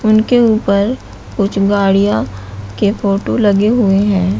उनके ऊपर कुछ गाड़ियां के फोटो लगे हुए हैं।